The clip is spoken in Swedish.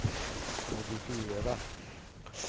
modifiera